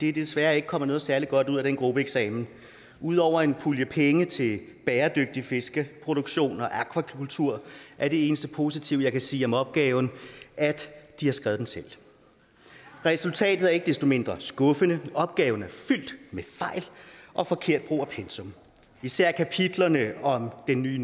er desværre ikke kommet noget særlig godt ud af den gruppeeksamen ud over en pulje penge til bæredygtig fiskeproduktion og akvakultur er det eneste positive jeg kan sige om opgaven at de har skrevet den selv resultatet er ikke desto mindre skuffende da opgaven er fyldt med fejl og forkert brug af pensum især kapitlerne om den nye